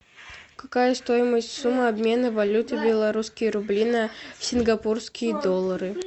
какая стоимость суммы обмена валюты белорусские рубли на сингапурские доллары